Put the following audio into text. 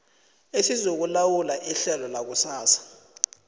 esizokulawula ihlelo lakusasa